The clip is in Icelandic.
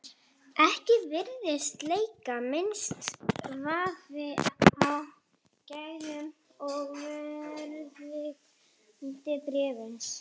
Ekki virðist leika minnsti vafi á gæðum og verðgildi bréfsins.